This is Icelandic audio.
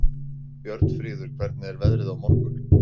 Björnfríður, hvernig er veðrið á morgun?